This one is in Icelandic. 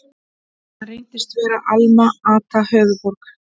Hann reyndist vera Alma-Ata, höfuðborg